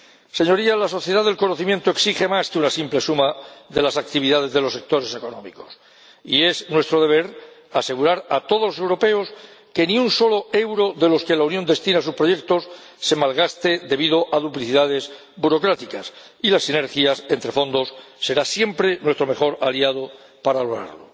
Señorías, la sociedad del conocimiento exige más que una simple suma de las actividades de los sectores económicos y es nuestro deber asegurar a todos los europeos que ni un solo euro de los que la Unión destina a sus proyectos se malgaste debido a duplicidades burocráticas, y las sinergias entre fondos serán siempre nuestro mejor aliado para lograrlo.